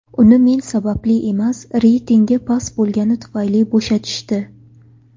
Uni men sababli emas, reytingi past bo‘lgani tufayli bo‘shatishdi.